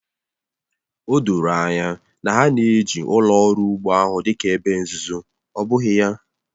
O doro anya na ha na-eji ụlọ ọrụ ugbo ahụ dị ka ebe nzuzo, ọ bụghị ya?